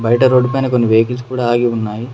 బయట రోడ్డుపైన కొన్ని వెహికల్స్ కూడా ఆగి ఉన్నాయి.